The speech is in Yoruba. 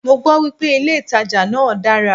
Mọ gbọ́ wípé ilé ìtajà náà dára.